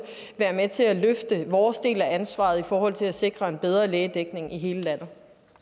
være med til at løfte vores del af ansvaret i forhold til at sikre en bedre lægedækning i hele landet